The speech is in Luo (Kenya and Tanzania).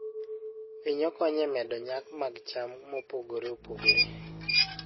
Winyo konyo e medo nyak mag cham mopogore opogore.